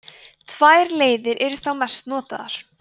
tvær leiðir eru þá mest notaðar